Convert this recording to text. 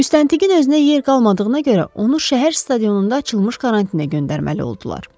Müstəntiqin özünə yer qalmadığına görə onu şəhər stadionunda açılmış karantinə göndərməli oldular.